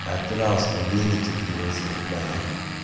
атырауский веники привозил с бани